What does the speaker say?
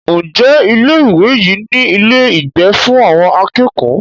Ǹjẹ́ ilé ìwé yìí ní ilé ìgbé fún àwọn akẹ́kọ̀ọ́?